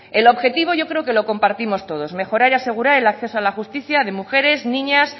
el objetivo yo creo que lo compartimos todos mejorar y asegurar el acceso a la justicia de mujeres niñas